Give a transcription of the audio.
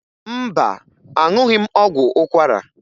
Mba, aṅụghị m ọgwụ ụkwara